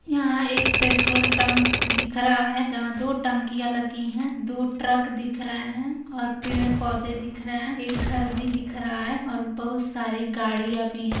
यहाँ एक petrol tank दिख रहा है जहाँ दो टंकिया लगी हैं दो ट्रक दिख रहे हैं और पेड़ पौधे दिख रहे हैं एक घर भी दिख रहा है और बहुत सारी गाड़ियां भी हैं।